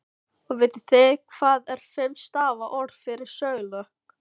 Og vitið þið hvað er fimm stafa orð yfir sögulok?